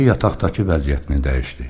Əri yataqdakı vəziyyətini dəyişdi.